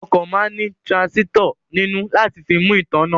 Ọkọ̀ máa ní tiransisitọ nínú láti fi mú ìtààná